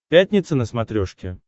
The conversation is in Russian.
пятница на смотрешке